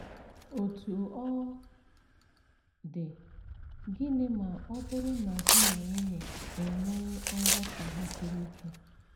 Otú ọ dị, gịnị ma ọ bụrụ na di na nwunye enwee nghọtahie siri ike?